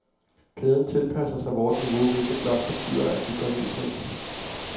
Kæden tilpasser sig vort niveau, hvilket blot betyder, at vi går ned i pris.